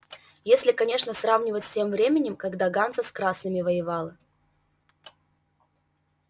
если конечно сравнивать с тем временем когда ганза с красными воевала